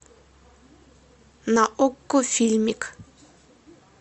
на окко фильмик